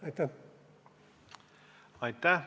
Aitäh!